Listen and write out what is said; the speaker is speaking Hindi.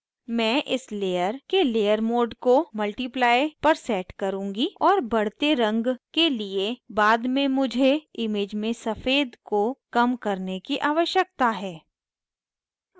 मैं इस layer के layer mode को multiply पर set करुँगी और बढ़ते रंग के लिए बाद में मुझे image में सफ़ेद को कम करने की आवश्यकता है